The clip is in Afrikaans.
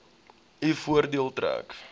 u voordeel trek